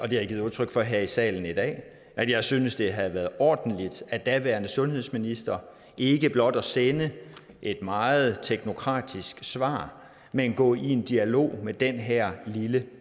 jeg givet udtryk for her i salen i dag at jeg synes det havde været ordentligt af den daværende sundhedsminister ikke blot at sende et meget teknokratisk svar men at gå i dialog med den her lille